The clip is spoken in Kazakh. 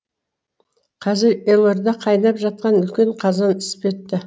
қазір елорда қайнап жатқан үлкен қазан іспетті